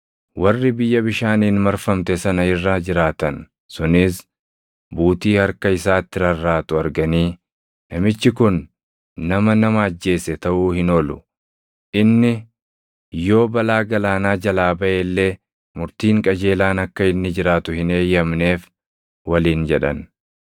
Warri biyya bishaaniin marfamte sana irra jiraatan sunis buutii harka isaatti rarraatu arganii, “Namichi kun nama nama ajjeese taʼuu hin oolu; inni yoo balaa galaanaa jalaa baʼe illee Murtiin Qajeelaan akka inni jiraatu hin eeyyamneef” waliin jedhan.